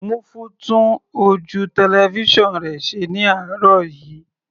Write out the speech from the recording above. Múfú tún ojú tẹlifísàn rẹ̀ ṣe ní àárọ̀ yìí.